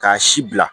K'a si bila